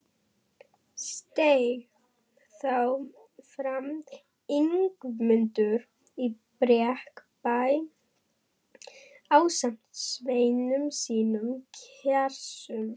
Steig þá fram Ingimundur í Brekkubæ ásamt sveinum sínum kerskum.